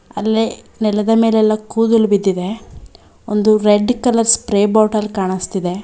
ಅಲ್ಲೇ ನೆಲದ ಮೇಲೆ ಎಲ್ಲ ಕೂದಲ್ ಬಿದ್ದಿದೆ ಒಂದು ರೆಡ್ ಕಲರ್ ಸ್ಪ್ರೇ ಬಾಟಲ್ ಕಾಣುಸ್ತಿದೆ.